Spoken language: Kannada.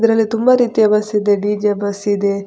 ಇದ್ರಲ್ಲಿ ತುಂಬ ರೀತಿಯ ಬಸ್‌ ಇದೆ ಡಿ.ಜೆ. ಬಸ್‌ ಇದೆ.